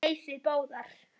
Nei, þið báðar.